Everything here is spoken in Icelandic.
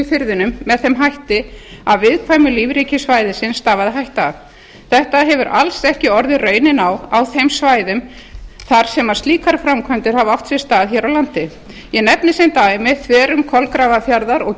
firðinum með þeim hætti að viðkvæmu lífríki svæðisins stafaði hætta af þetta hefur alls ekki orðið raunin á á þeim svæðum þar sem slíkar framkvæmdir hafa átt sér stað hér á landi ég nefni sem dæmi þverun kolgrafarfjarðar og